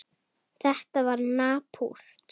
Þetta var napurt.